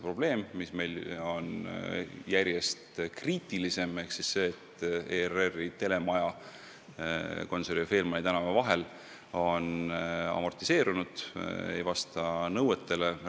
Olukord muutub järjest kriitilisemaks seetõttu, et ERR-i telemaja Gonsiori ja Faehlmanni tänava vahel on amortiseerunud, ei vasta nõuetele.